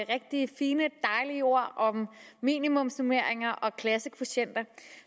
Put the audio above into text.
rigtig fine dejlige ord om minimumsnormeringer og klassekvotienter